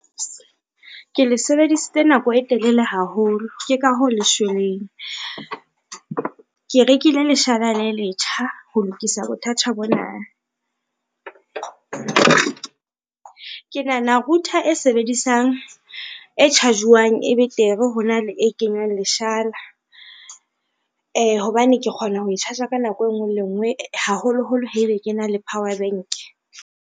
Ke le sebedisitse nako e telele haholo, ke ka hoo le shweleng. Ke rekile leshala le letjha ho lokisa bothata bona, ke nahana router e charge-wang e betere ho na le e kenywang leshala, hobane ke kgona ho charge-a ka nako e ngwe le e ngwe haholoholo haebe ke na le power bank.